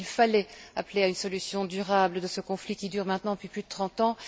Oui, il fallait appeler à une solution durable de ce conflit qui dure maintenant depuis plus de trente ans.